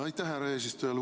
Aitäh, härra eesistuja!